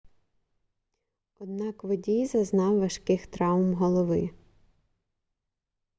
однак водій зазнав важких травм голови